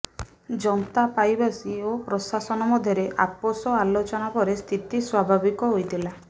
ଯନ୍ତାପାଇବାସୀ ଓ ପ୍ରଶାସନ ମଧ୍ୟରେ ଆପୋସ ଆଲୋଚନା ପରେ ସ୍ଥିତି ସ୍ୱାଭିବିକ ହୋଇଥିଲା